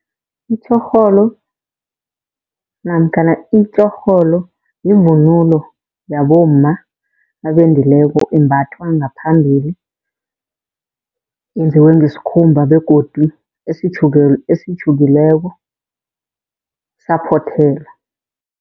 Itjhorholo namkhana itjorholo yivunulo yabomma abendileko imbathwa ngaphambili. Yenziwe ngesikhumba begodu esitjhukiweko saphothelwa.